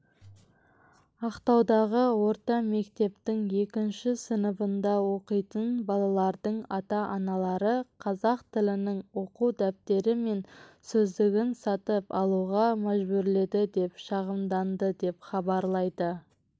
ақтаудағы орта мектептің екінші сыныбында оқитын балалардың ата-аналары қазақ тілінің оқу дәптері мен сөздігін сатып алуға мәжбүрледі деп шағымданды деп хабарлайды